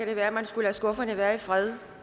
det være man skulle lade skufferne være i fred